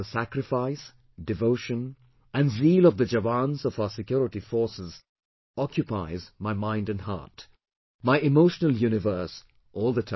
The sacrifice, devotion and zeal of the Jawans of our security forces occupies my mind and heart, my emotional universe all the time